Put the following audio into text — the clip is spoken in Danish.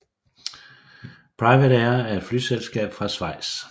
PrivatAir er et flyselskab fra Schweiz